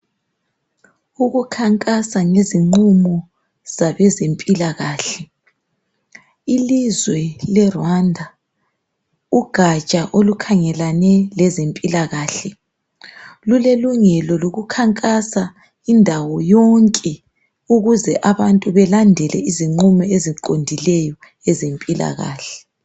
Ukukhankasa ngeziqumo zabe zempilakahle. Ilizwe le Rwanda ugatsha olukhangelane lezempilakhale lule lungelo lokukhankasa indawo yonke ukuze abantu balendele iziqumo eziqondileyo ezempilakahle.